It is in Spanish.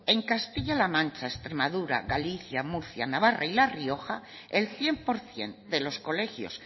les doy en castilla la mancha extremadura galicia murcia navarra y la rioja el cien por ciento de los colegios